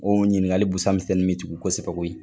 O ɲininkakali busa misɛnnin bɛ jigi kosɛbɛ koye .